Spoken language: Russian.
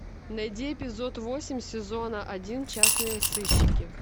найди эпизод восемь сезона один частные сыщики